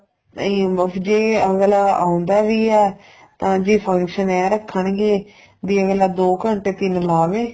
ਨਹੀਂ ਮੁਸ਼ ਜੀ ਅੱਗਲਾ ਆਉਂਦਾ ਵੀ ਏ ਤਾਂ ਜੀ function ਇਹ ਰੱਖਣ ਗੇ ਬੀ ਅੱਗਲਾ ਦੋ ਘੰਟੇ ਤਿੰਨ ਲਾਵੇ